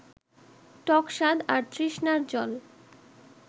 টক স্বাদ আর তৃষ্ণার জল